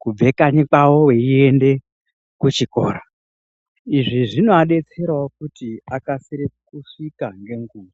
kubva kanyi kwavo veienda kuchikora izvi zvinovadetserawo kuti vakasire kusvika ngenguwa.